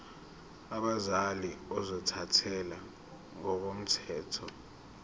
abazali ozothathele ngokomthetho